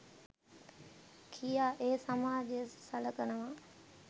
කියා ඒ සමාජය සලකනවා.